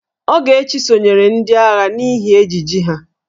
Ogechi sonyeere ndị agha n'ihi ejiji ha.